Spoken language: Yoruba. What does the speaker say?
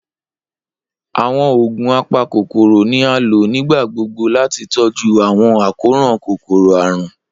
Awọn oogun apakokoro ni a lo nigbagbogbo lati tọju awọn akoran kokoro-arun.